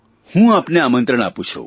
હું આપને આમંત્રણ આપું છું